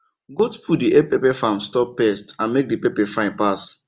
goat poo dey help pepper farm stop pest and make the pepper fine pass